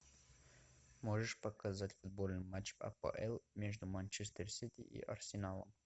можешь показать футбольный матч апл между манчестер сити и арсеналом